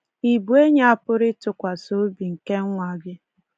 Ị bụ enyi a pụrụ ịtụkwasị obi nke nwa gị?